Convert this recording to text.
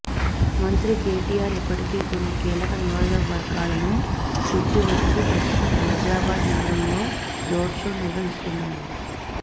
మంత్రి కెటిఆర్ ఇప్పటికే కొన్ని కీలక నియోజకవర్గాలను చుట్టివచ్చి ప్రస్తుతం హైదరాబాద్ నగరంలో రోడ్షో నిర్వహిస్తున్నారు